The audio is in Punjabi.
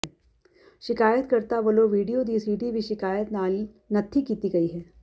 ਸ਼ਿਕਾਇਤ ਕਰਤਾ ਵਲੋਂ ਵੀਡੀਓ ਦੀ ਸੀਡੀ ਵੀ ਸ਼ਿਕਾਇਤ ਨਾਲ ਨੱਥੀ ਕੀਤੀ ਗਈ ਹੈ